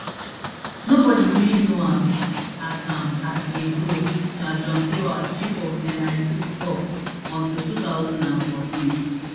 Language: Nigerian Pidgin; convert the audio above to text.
nobody really know am as am as e dey grow sir john sawers chief of misix tok until two thousand and fourteen